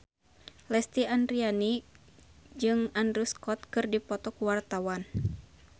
Lesti Andryani jeung Andrew Scott keur dipoto ku wartawan